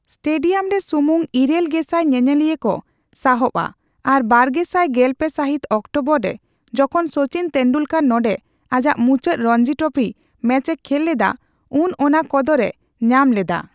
Stadium ᱨᱮ ᱥᱩᱢᱩᱝ ᱤᱨᱟᱹᱞ ᱜᱮᱥᱟᱭ ᱧᱮᱧᱮᱞᱤᱭᱟᱹ ᱠᱚ ᱥᱟᱦᱚᱵᱼᱟ ᱟᱨ ᱵᱟᱨᱜᱮᱥᱟᱭ ᱜᱮᱞᱯᱮ ᱥᱟᱹᱦᱤᱛ ᱚᱠᱴᱳᱵᱚᱨ ᱨᱮ ᱡᱚᱠᱷᱚᱱ ᱥᱚᱪᱤᱱ ᱛᱮᱱᱫᱩᱞᱠᱚᱨ ᱱᱚᱰᱮ ᱟᱡᱟᱜ ᱢᱩᱪᱟᱹᱫ ᱨᱚᱧᱡᱤ ᱴᱨᱚᱯᱷᱤ ᱢᱮᱪᱮ ᱠᱷᱮᱞ ᱞᱮᱫᱟ ᱩᱱ ᱚᱱᱟ ᱠᱚᱫᱚᱨᱮ ᱧᱟᱢ ᱞᱮᱫᱟ ᱾